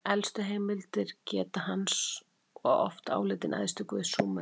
Elstu heimildir geta hans og hann oft álitinn æðsti guð Súmera.